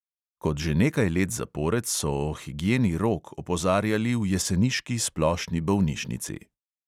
Kot že nekaj let zapored so o higieni rok opozarjali v jeseniški splošni bolnišnici.